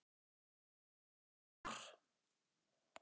Viltu far?